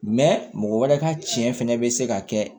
mɔgɔ wɛrɛ ka cɛn fɛnɛ bɛ se ka kɛ